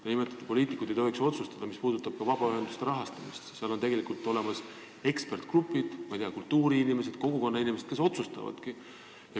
Te nimetasite, et poliitikud ei tohiks otsustada ka vabaühenduste rahastamise üle, aga kohapeal on tegelikult olemas eksperdigrupid – kultuuriinimesed, kogukonnainimesed –, kes otsustavad.